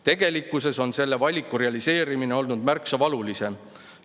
Tegelikkuses on selle valiku realiseerimine olnud märksa valulisem.